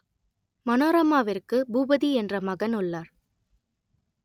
மனோரமாவிற்கு பூபதி என்ற மகன் உள்ளார்